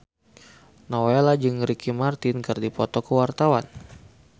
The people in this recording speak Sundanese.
Nowela jeung Ricky Martin keur dipoto ku wartawan